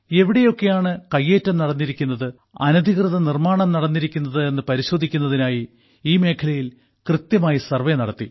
എവിടെയൊക്കെയാണ് കയ്യേറ്റം നടന്നിരിക്കുന്നത് അനധികൃത നിർമാണം നടന്നിരിക്കുന്നത് എന്ന് പരിശോധിക്കുന്നതിനായി ഈ മേഖലയിൽ കൃത്യമായി സർവേ നടത്തി